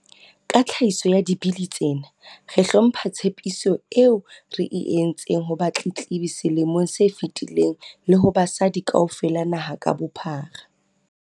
Ka tlhahiso ya Dibili tsena, re hlompha tshepiso eo re e entseng ho batletlebi selemong se fetileng le ho basadi kaofela naha ka bophara.